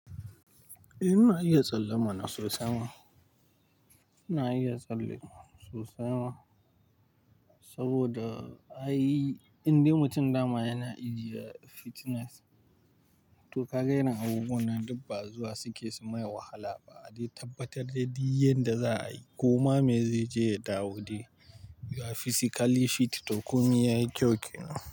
Eh, ina iya tsalle mana sosai ma. Ina iya tsalle sosai ma saboda ai, indai mutum dama yana ijiye fitness to kaga yana abubuwannan dukba zuwa suke sumai wahalaba a dai tabbatar de duk yanda za'a yi. Koma me zaije ya dawo de, you are physically fit to komai yayi kyau kenan.